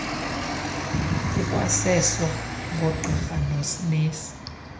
kukwaseso koogqirha noonesi